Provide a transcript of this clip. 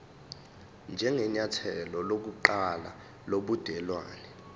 njengenyathelo lokuqala lobudelwane